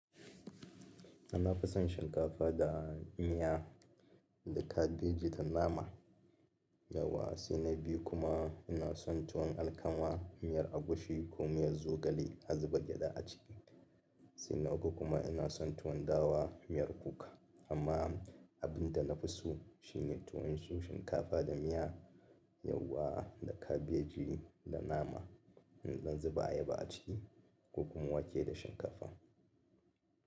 Nafi son shinkafa da miya da kabeji da nama. Yauwa saina biyu kuma ina son tuwon alkama, miyar agushi ko miyar zogale azuba gyada a ciki. Sannan ko kuma ina son tuwon dawa miyar kuka. Amma abinda nafi so shine tuwon shinkafa da miya, yauwa da kabeji da nama in dan zuba ayaba a ciki ko kuma wake da shinkafa.